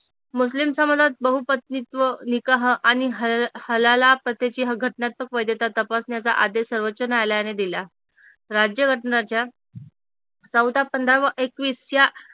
मुस्लिम समाजात बहुपतनित्व निकाह आणि हालहाला पत्याची घटनात्मक वैधता तपासण्याचा आदेश सर्वोच्च न्यायालयाने दिला राज्य घटनाच्या चौदा, पंधरावा एकवीसच्या